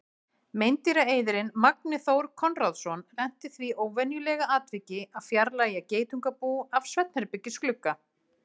Meindýraeyðirinn Magni Þór Konráðsson lenti í því óvenjulega atviki að fjarlægja geitungabú af svefnherbergisglugga.